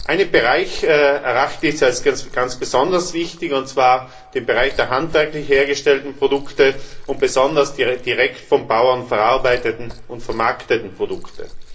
Einen Bereich erachte ich als ganz besonders wichtig, und zwar den Bereich der handwerklich hergestellten Produkte und besonders der direkt vom Bauern verarbeiteten und vermarkteten Produkte.